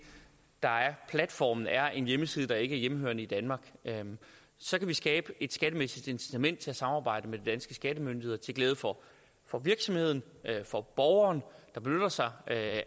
der er platformen er en hjemmeside der ikke er hjemmehørende i danmark så kan vi skabe et skattemæssigt incitament til at samarbejde med de danske skattemyndigheder til glæde for for virksomheden for borgeren der benytter sig af